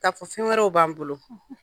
Ka fɔ fɛn wɛrɛw b'an bolo.